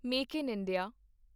make in India